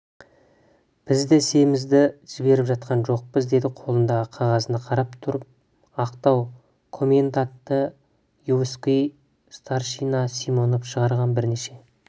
біз де есемізді жіберіп жатқан жоқпыз деді қолындағы қағазына қарап тұрып ақтау коменданты войсковой старшина симонов шығарған бірнеше